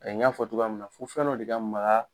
n y'a fɔ cogoya min na fo fɛn dɔ de ka maga